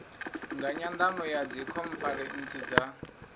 nga nyandano ya dzikhonferentsi dza